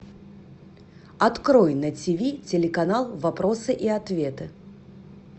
открой на ти ви телеканал вопросы и ответы